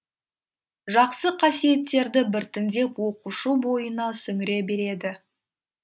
жақсы қасиеттерді біртіндеп оқушы бойына сіңіре береді